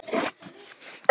Hvers hafði hann vænst?